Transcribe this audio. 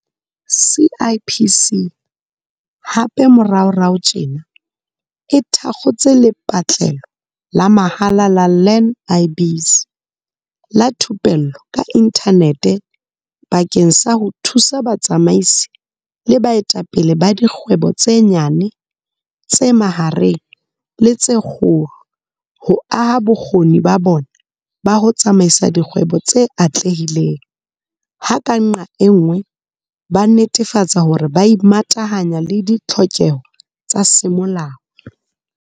CIPC hape moraorao tjena e thakgotse lepatlelo la mahala la Learn-i-Biz la thupello ka inthanete bakeng sa ho thusa batsamaisi le baetapele ba dikgwebo tse nyane, tse mahareng le tse kgolo ho aha bokgoni ba bona ba ho tsamaisa dikgwebo tse atlehileng, ha ka nqa e nngwe ba netefatsa hore ba imatahanya le ditlhokeho tsa semolao.